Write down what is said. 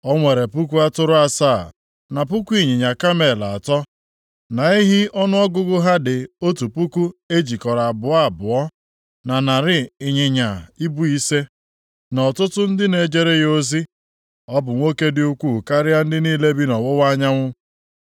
O nwere puku atụrụ asaa, na puku ịnyịnya kamel atọ, na ehi ọnụọgụgụ ha dị otu puku e jikọrọ abụọ abụọ, na narị ịnyịnya ibu ise, na ọtụtụ ndị na-ejere ya ozi. Ọ bụ nwoke dị ukwuu karịa ndị niile bi nʼọwụwa anyanwụ.